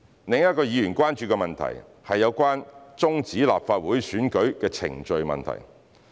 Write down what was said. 另一個議員關注的問題，是有關終止立法會選舉的程序問題。